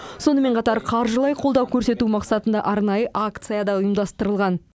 сонымен қатар қаржылай қолдау көрсету мақсатында арнайы акция да ұйымдастырылған